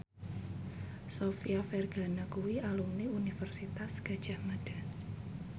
Sofia Vergara kuwi alumni Universitas Gadjah Mada